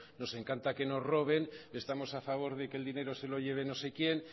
nos encanta que nos roben estamos a favor de que el dinero se lo lleven no sé quién